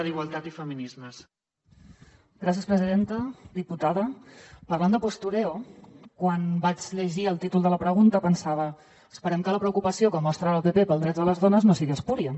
diputada parlant de postureo quan vaig llegir el títol de la pregunta pensava esperem que la preocupació que mostra el pp pels drets de les dones no sigui espúria